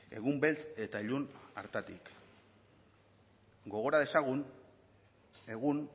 egun beltz eta ilun hartatik gogora dezagun egun